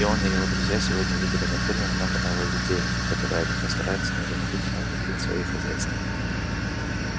и он и его друзья сегодня видели на ферме много нововведений которые они постараются незамедлительно внедрить в свои хозяйства